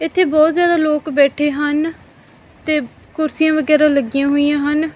ਇਥੇ ਬੋਹਤ ਜਾਦਾ ਲੋਕ ਬੈਠੇ ਹਨ ਤੇ ਕੁਰਸੀਆਂ ਵਗੈਰਾ ਲਗਿਆ ਹੋਇਆਂ ਹਨ।